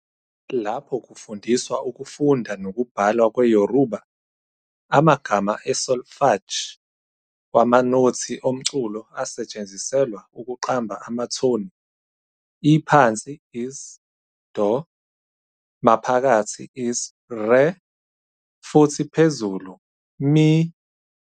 Lapho kufundiswa ukufunda nokubhala kwe-Yoruba, amagama asolfège wamanothi omculo asetshenziselwa ukuqamba amathoni- iphansi is "do", maphakathi is "re", futhi iphezulu "mi".